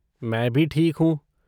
मैं भी ठीक हूँ।